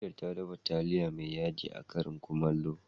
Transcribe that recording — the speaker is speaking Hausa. Angel ta dafa taliya mai yaji a karin Kumallo.